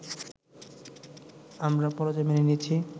আমরা পরাজয় মেনে নিয়েছি